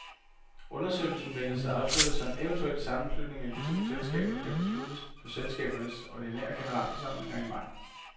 Undersøgelsen ventes afsluttet, så en eventuel sammenslutning af de to selskaber kan besluttes på selskabernes ordinære generalforsamlinger i maj.